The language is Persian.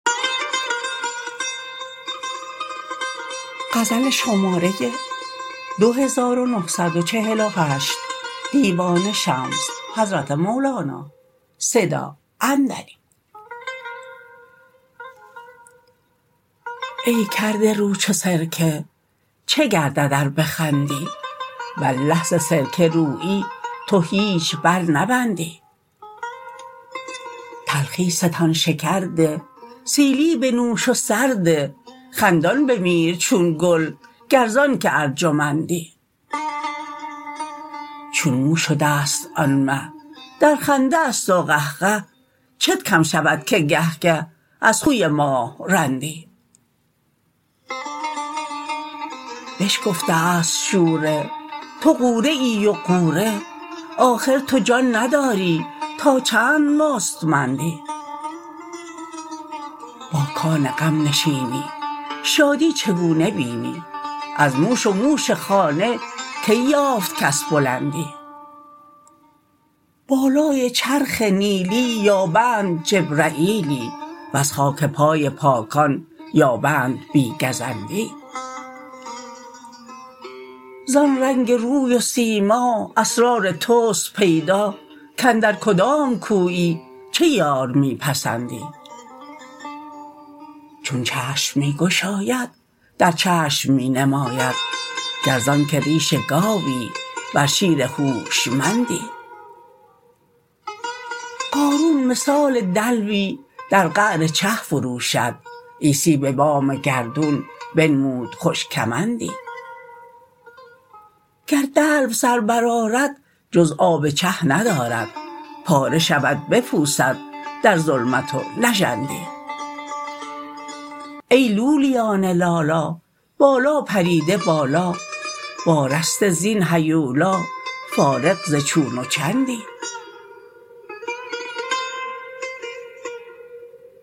ای کرده رو چو سرکه چه گردد ار بخندی والله ز سرکه رویی تو هیچ برنبندی تلخی ستان شکر ده سیلی بنوش و سر ده خندان بمیر چون گل گر ز آنک ارجمندی چون مو شده ست آن مه در خنده است و قهقه چت کم شود که گه گه از خوی ماه رندی بشکفته است شوره تو غوره ای و غوره آخر تو جان نداری تا چند مستمندی با کان غم نشینی شادی چگونه بینی از موش و موش خانه کی یافت کس بلندی بالای چرخ نیلی یابند جبرییلی وز خاک پای پاکان یابند بی گزندی زان رنگ روی و سیما اسرار توست پیدا کاندر کدام کویی چه یار می پسندی چون چشم می گشاید در چشم می نماید گر ز آنک ریش گاوی ور شیر هوشمندی قارون مثال دلوی در قعر چه فرو شد عیسی به بام گردون بنمود خوش کمندی گر دلو سر برآرد جز آب چه ندارد پاره شود بپوسد در ظلمت و نژندی ای لولیان لالا بالا پریده بالا وارسته زین هیولا فارغ ز چون و چندی